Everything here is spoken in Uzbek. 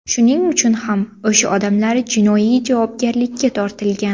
Shuning uchun ham o‘sha odamlar jinoiy javobgarlikka tortilgan.